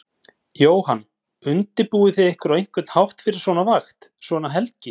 Jóhann: Undirbúið þið ykkur á einhvern hátt fyrir svona vakt, svona helgi?